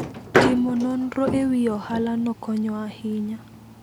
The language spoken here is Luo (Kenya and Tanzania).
Timo nonro e wi ohalano konyo ahinya.